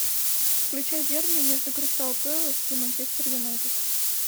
включай дерби между кристал пэлас и манчестер юнайтед